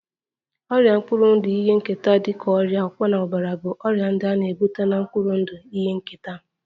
Ọrịa mkpụrụ ndụ ihe nketa dị ka ọrịa ọkpọnọbara bụ ọrịa ndị a na-ebu na mkpụrụ ndụ ihe nketa